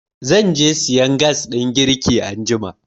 Zan je sayan gas ɗin girki anjima.